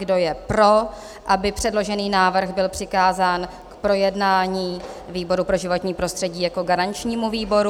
Kdo je pro, aby předložený návrh byl přikázán k projednání výboru pro životní prostředí jako garančnímu výboru?